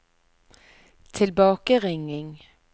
tilbakeringing